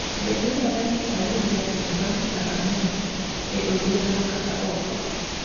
Be dwarore ni ayud jaket bang’ saa ang’wen e odhiambo kata ok?